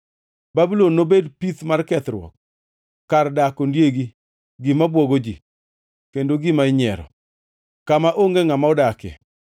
Babulon nobed pith mar kethruok, kar dak ondiegi, gima bwogo ji, kendo gima inyiero, kama onge ngʼama odakie.